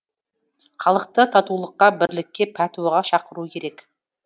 халықты татулыққа бірлікке пәтуаға шақыру керек